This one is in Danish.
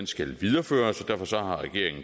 skal videreføres og